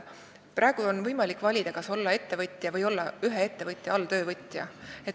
Praegu on võimalik valida, kas olla ettevõtja või ühe ettevõtja alltöövõtja.